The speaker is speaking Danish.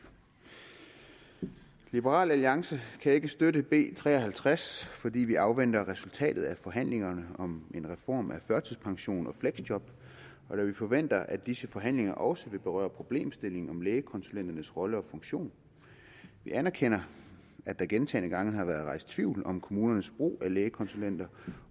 liberal alliance kan ikke støtte b tre og halvtreds fordi vi afventer resultatet af forhandlingerne om en reform af førtidspension og fleksjob da vi forventer at disse forhandlinger også vil berøre problemstillingen om lægekonsulenternes rolle og funktion vi anerkender at der gentagne gange har været rejst tvivl om kommunernes brug af lægekonsulenter